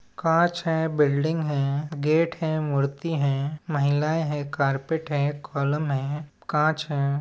कांच है बिल्डिंग है गेट है मुर्ती है महिलाएं है कारपेट है कॉलम है कांच हैं।